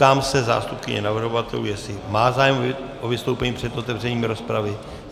Ptám se zástupkyně navrhovatelů, jestli má zájem o vystoupení před otevřením rozpravy.